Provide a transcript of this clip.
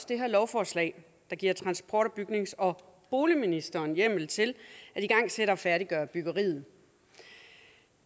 det her lovforslag der giver transport bygnings og boligministeren hjemmel til at igangsætte og færdiggøre byggeriet